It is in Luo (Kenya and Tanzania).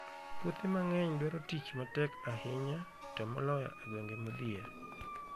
Puothe mang'eny dwaro tich matek ahinya, to moloyo e gwenge modhier.